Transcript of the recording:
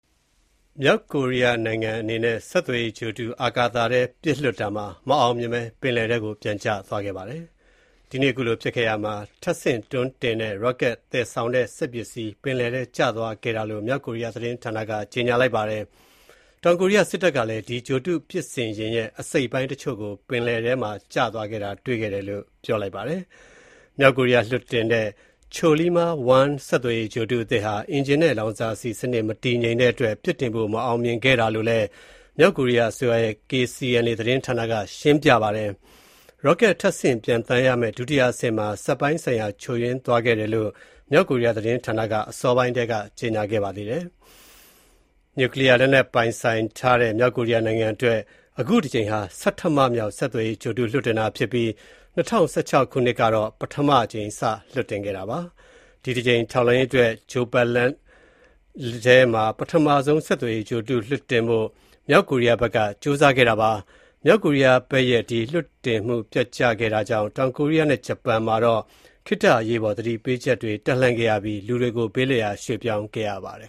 မြောက်ကိုရီးယားနိုင်ငံက ဒီနေ့ ဗုဒ္ဓဟူးနေ့ အာကာသထဲ ပစ်လွှတ်လိုက်တဲ့ ဆက်သွယ်ရေးဂြိုလ်တု မအောင်မြင်ဖြစ်ပြီး ထပ်ဆင့်တွန်းတင်တဲ့ ရော့ကက်နဲ့ သယ်ဆောင်တဲ့ စက်ပစ္စည်းတွေ ပင်လယ်ထဲကို ကျသွားခဲ့ပါတယ်လို့ မြောက်ကိုရီးယား သတင်းဌာနက ကြေညာပါတယ်။ တောင်ကိုရီးယား စစ်တပ်ကတော့ ပစ်စင်ယာဉ်ရဲ့ အစိတ်အပိုင်းတချို့ကို ပင်လယ်ထဲက သူတို့ ရှာဖွေတွေ့ရှိတယ်လို့ ပြောပါတယ်။ မြောက်ကိုရီးယား လွှတ်တင်တဲ့ Chollima-1 ဆက်သွယ်ရေး ဂြိုလ်တုသစ်ဟာ အင်ဂျင်နဲ့ လောင်စာဆီ စနစ် မတည်ငြိမ်တဲ့အတွက် အခုလို မအောင်မမြင် ဖြစ်ခဲ့တာလို့လည်း မြောက်ကိုရီးယားအစိုးရရဲ့ KCNA သတင်းဌာနက ထုတ်လွှင့်ပါတယ်။ ရော့ကက် ထပ်ဆင့်ပျံသန်းရမယ့် ဒုတိယ အဆင့်မှာ စက်ပိုင်းဆိုင်ရာ ချို့ယွင်းသွားခဲ့တာလို့လည်း မြောက်ကိုရီးယား သတင်းဌာနက အစောပိုင်းက ကြေညာခဲ့ပါတယ်။ နျုကလီးယား လက်နက်ပိုင်ဆိုင်ထားတဲ့ မြောက်ကိုရီးယားနိုင်ငံအတွက် အခုတကြိမ်ဟာ ဆဌမမြောက် ဆက်သွယ်ရေး ဂြိုလ်တု လွှတ်တင်တာဖြစ်ပြီး ၂၀၁၆ ခုနှစ်က ပထမအကြိမ် လွှတ်တင်ခဲ့ပါတယ်။ ဂြိုလ်ပတ်လမ်းထဲမှာ ထောက်လှမ်းရေးအတွက် ပထမဆုံး ဆက်သွယ်ရေး ဂြိုလ်တု လွှတ်တင်ဖို့ မြောက်ကိုရီးယားဘက်က ကြိုးစားခဲ့တာပါ။ မြောက်ကိုရီးယားဘက်က ဆက်သွယ်ရေးဂြိုလ်တု ပစ်လွတ်လိုက်ခဲ့တာကြောင့် တောင်ကိုရီးယားနဲ့ ဂျပန်နိုင်ငံတွေမှာ ခေတ္တ အရေးပေါ်သတိပေးချက်တွေ တပ်လှန့်ပြီး လူတွေကို ဘေးလွတ်ရာယာယီ ရွေ့ပြောင်းခဲ့ရပါတယ်